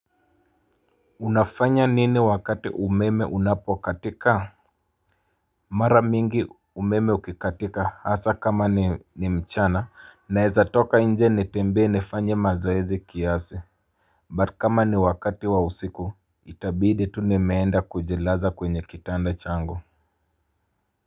Unafanya nini wakati umeme unapo katika? Mara mingi umeme ukikatika hasa kama ni mchana Naeza toka nje nitembee nifanye mazoezi kiasi But kama ni wakati wa usiku, itabidi tu nimeenda kujilaza kwenye kitanda changu.